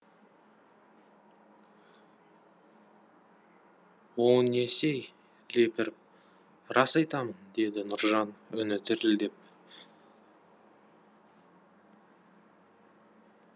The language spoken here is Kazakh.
о несі ей лепіріп рас айтамын деді нұржан үні дірілдеп